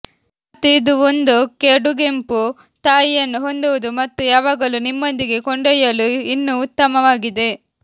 ಮತ್ತು ಇದು ಒಂದು ಕಡುಗೆಂಪು ತಾಯಿಯನ್ನು ಹೊಂದುವುದು ಮತ್ತು ಯಾವಾಗಲೂ ನಿಮ್ಮೊಂದಿಗೆ ಕೊಂಡೊಯ್ಯಲು ಇನ್ನೂ ಉತ್ತಮವಾಗಿದೆ